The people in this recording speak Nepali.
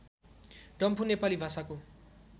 डम्फु नेपाली भाषाको